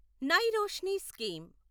నై రోష్ని స్కీమ్